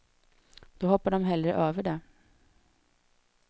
Då hoppar de hellre över det.